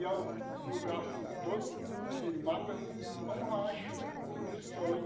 E é um lugar assim, todo cheio de mato era um é um rancho, no sonho.